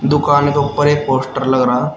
दुकान के ऊपर एक पोस्टर लग रहा--